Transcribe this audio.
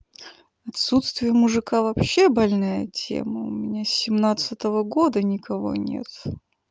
отсутствие мужика вообще больная тема у меня с семнадцатого года никого нет